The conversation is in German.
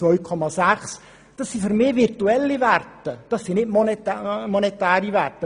Für mich sind dies virtuelle und keine monetären Werte.